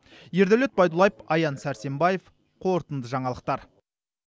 ердәулет байдуллаев аян сәрсенбаев қорытынды жаңалықтар